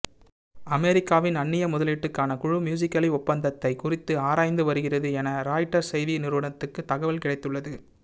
அமெரிக்காவின் அந்நிய முதலீட்டுக்கான குழு மியூசிகலி ஒப்பந்தத்தை குறித்து ஆராய்ந்து வருகிறது என ராய்ட்டர்ஸ் செய்தி நிறுவனத்துக்கு தகவல் கிடைத்துள்ளது